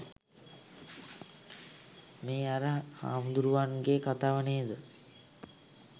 මේ අර හාමුදුරුවන් ගේ කතාව නේද?